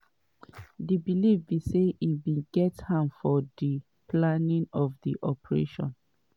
di believe be say im bin get hand for di planning of di operation.